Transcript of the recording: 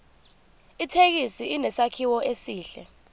ithekisi inesakhiwo esihle